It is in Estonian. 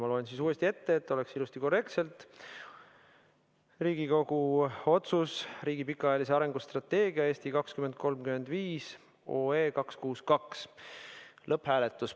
Ma loen pealkirja uuesti ette, et kõik oleks ilusti korrektne: Riigikogu otsuse "Riigi pikaajalise arengustrateegia "Eesti 2035" heakskiitmine" eelnõu 262 lõpphääletus.